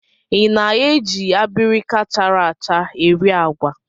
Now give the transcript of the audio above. I na-eji abirika chara acha eri agwa?